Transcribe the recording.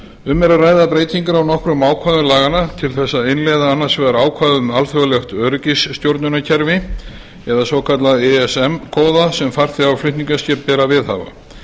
um er að ræða breytingar á nokkrum ákvæðum laganna til að innleiða annars vegar ákvæði um alþjóðlegt öryggisstjórnunarkerfi eða svokallað ism kóða sem farþega og flutningaskipum ber að viðhafa